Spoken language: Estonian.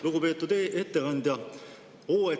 Lugupeetud ettekandja!